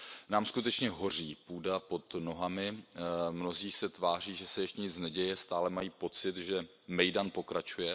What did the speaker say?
Nám skutečně hoří půda pod nohama, mnozí se tváří, že se ještě nic neděje, stále mají pocit, že mejdan pokračuje.